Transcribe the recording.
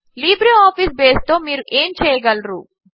LibreOffice బేస్తో మీరు ఏమి చేయగలరు